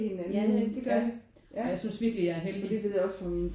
Ja det er rigtigt det gør vi og jeg synes virkelig at jeg er heldig